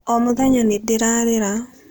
O mũthenya nĩ ndĩrarĩra.